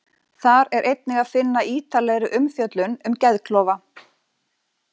Þar er einnig að finna ítarlegri umfjöllun um geðklofa.